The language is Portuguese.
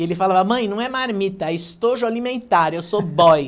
E ele falava, mãe, não é marmita, é estojo alimentar, eu sou boy.